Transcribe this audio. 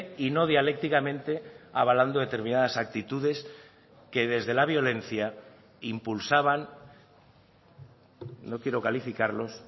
y no dialécticamente abalando determinadas actitudes que desde la violencia impulsaban no quiero calificarlos